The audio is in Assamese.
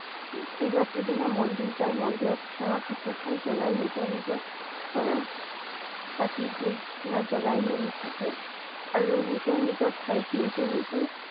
শিৱৰাত্ৰি দিনা মন্দিৰ জাই মন্দিৰত সেৱা শুশ্ৰূষা জনাই নিজৰ নিজ~ৰ চাকি ধূপ ধুনা জ্বলাই মেলি থাকে। আৰু নিজৰ নিজৰ ঠাইত নিজে নিজে